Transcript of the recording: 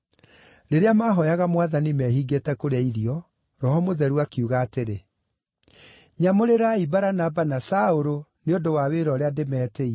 Rĩrĩa mahooyaga Mwathani mehingĩte kũrĩa irio, Roho Mũtheru akiuga atĩrĩ, “Nyamũrĩrai Baranaba na Saũlũ nĩ ũndũ wa wĩra ũrĩa ndĩmetĩire.”